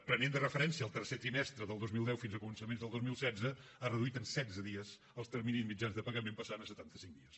prenent de referència el tercer trimestre del dos mil deu fins a començaments del dos mil setze ha reduït en setze dies els terminis mitjans de pagament i ha passat a setanta cinc dies